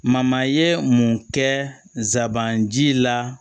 ye mun kɛ nsabanci la